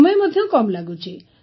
ସମୟ ମଧ୍ୟ କମ୍ ଲାଗୁଛି